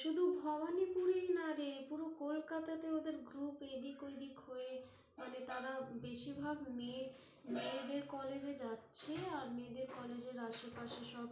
শুধু ভবানিপুরেই না রে, পুরো কলকাতাতে ওদের group এদিক ওদিক হয়ে, মানে তারা বেশীরভাগ মেয়েদের college এ যাচ্ছে, আর মেয়েদের college এর আশেপাশে সব